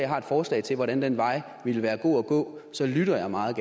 har et forslag til hvordan den vej ville være god at gå så lytter jeg meget